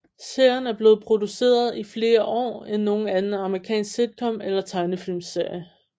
Serien er blevet produceret i flere år end nogen anden amerikansk sitcom eller tegnefilmsserie